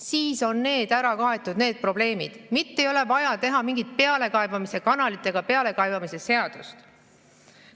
Siis on need probleemid ära kaetud, mitte ei ole vaja teha mingit pealekaebamise kanalit ega pealekaebamise seadust.